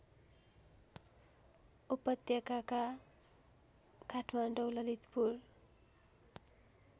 उपत्यकाका काठमाडौँ ललितपुर